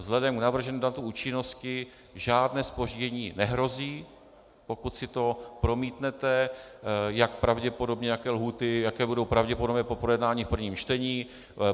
Vzhledem k navrženému datu účinnosti žádné zpoždění nehrozí, pokud si to promítnete, jak pravděpodobně, jaké lhůty, jaké budou pravděpodobně po projednání v prvním čtení.